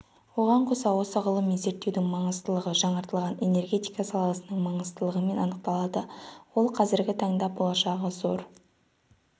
оған қоса осы ғылыми зерттеудің маңыздылығы жаңартылатын энергетика саласының маңыздылығымен анықталады ол қазіргі таңда болашағы зор